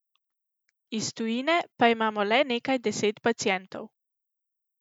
Iz tujine pa imamo le nekaj deset pacientov.